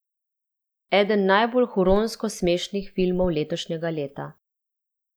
Eden najbolj huronsko smešnih filmov letošnjega leta.